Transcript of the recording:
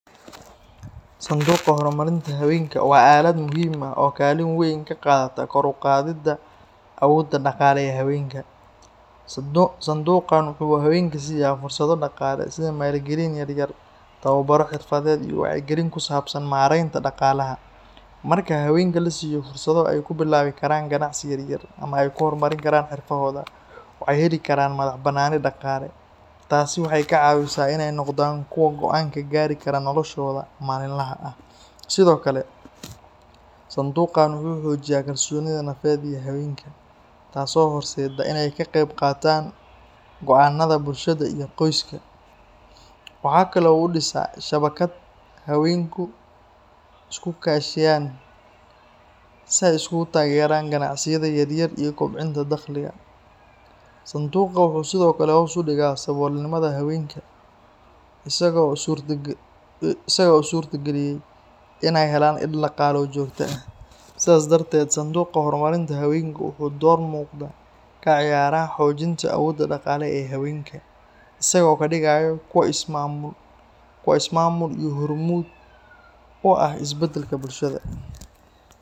Sanduuqa horumarinta haweenka waa aalad muhiim ah oo kaalin weyn ka qaadata kor u qaadidda awoodda dhaqaale ee haweenka. Sanduuqan waxa uu haweenka siiya fursado dhaqaale sida maalgelin yar-yar, tababaro xirfadeed, iyo wacyigelin ku saabsan maaraynta dhaqaalaha. Marka haweenka la siiyo fursado ay ku bilaabi karaan ganacsi yaryar ama ay ku horumarin karaan xirfadahooda, waxay heli karaan madax-bannaani dhaqaale. Taasina waxay ka caawisaa in ay noqdaan kuwo go’aan ka gaari kara noloshooda maalinlaha ah. Sidoo kale, sanduuqan wuxuu xoojiyaa kalsoonida nafeed ee haweenka, taas oo horseedda in ay ka qayb qaataan go’aanada bulshada iyo qoyska. Waxa kale oo uu dhisaa shabakad haweenku ku is-kaashiyaan si ay isugu taageeraan ganacsiyada yaryar iyo kobcinta dakhliga. Sanduuqa wuxuu sidoo kale hoos u dhigaa saboolnimada haweenka, isaga oo u suurtageliya inay helaan il-dhaqaale oo joogto ah. Sidaas darteed, sanduuqa horumarinta haweenku wuxuu door muuqda ka ciyaaraa xoojinta awoodda dhaqaale ee haweenka, isagoo ka dhigaya kuwo is-maamul iyo hormuud u ah isbeddelka bulshada.